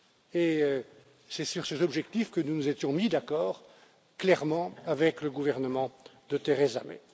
Et c'est sur ces objectifs que nous nous étions mis d'accord clairement avec le gouvernement de Theresa May.